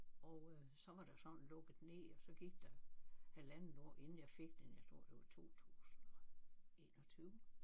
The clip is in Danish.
Og øh så var der sådan lukket ned og så gik der halvandet år inden jeg fik den jeg tror det var 2021